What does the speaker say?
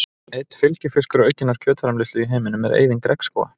Einn fylgifiskur aukinnar kjötframleiðslu í heiminum er eyðing regnskóga.